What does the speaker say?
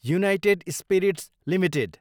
United Spirits Ltd